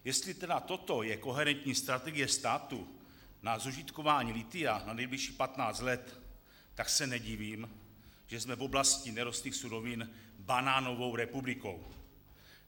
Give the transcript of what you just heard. Jestli tedy toto je koherentní strategie státu na zužitkování lithia na nejbližších 15 let, tak se nedivím, že jsme v oblasti nerostných surovin banánovou republikou.